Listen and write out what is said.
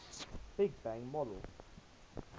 big bang model